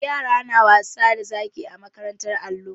Yara na wasa da zaki a makarantar allo.